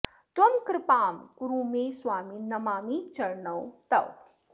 त्वं कृपां कुरु मे स्वामिन् नमामि चरणौ तव